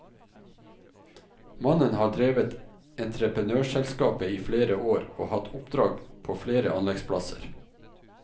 Mannen har drevet entreprenørselskapet i flere år og hatt oppdrag på flere anleggsplasser.